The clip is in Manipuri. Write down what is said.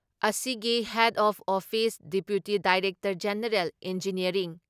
ꯑꯁꯤꯒꯤ head of office deputy director general engineering